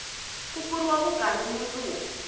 ku pfuriwa vukanyi mundzuku